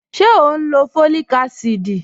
Ṣẹ̀ o n lọ́ fọ́líìkà àsídì?